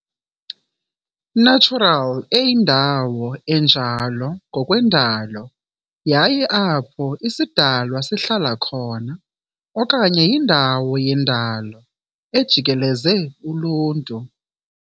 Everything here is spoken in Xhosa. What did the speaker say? natural eyindawo enjalo ngokwendalo yayo apho isidalwa sihlala khona, okanye yindawo yendalo ejikeleze uluntu.